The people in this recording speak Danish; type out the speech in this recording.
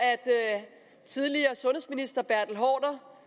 tidligere sundhedsminister bertel haarder